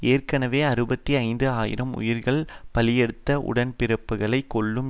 ஏற்கனவே அறுபத்தி ஐந்து ஆயிரம் உயிர்களை பலியெடுத்த உடன்பிறப்புக்களை கொல்லும்